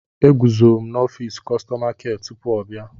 Eguzo m n'ọfịs kọstọma kịa tupu ọ bịa.